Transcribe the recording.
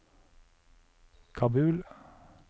Kabul